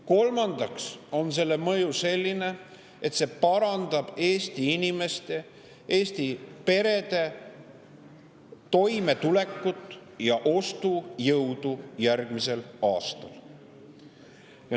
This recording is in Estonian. Kolmandaks on selle mõju selline, et see parandab Eesti inimeste ja Eesti perede toimetulekut ja ostujõudu järgmisel aastal.